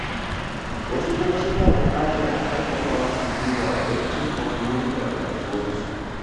Wasu kuma suna buƙatar a ƙarfafa musu guiwa, don cimma burikan rayuwarsu.